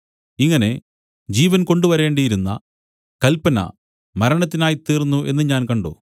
ഇങ്ങനെ ജീവൻ കൊണ്ടുവരേണ്ടിയിരുന്ന കല്പന മരണത്തിനായിത്തീർന്നു എന്നു ഞാൻ കണ്ട്